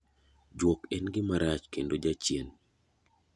Juok en gima rach kendo jachien.